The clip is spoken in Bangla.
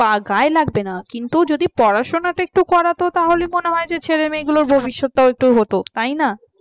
তার গায়ে লাগবে না কিন্তু পড়াশোনা যদি একটু করা তো তাহলে মনে হয় ছেলেমেয়েদের ভবিষ্যৎ তাও একটু হত তাই না